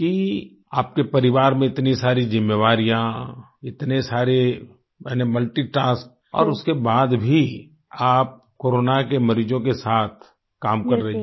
कि आपके परिवार में इतनी सारी जिम्मेवारियाँ इतने सारे यानी मल्टीटास्क और उसके बाद भी आप कोरोना के मरीजों के साथ काम कर रही हैं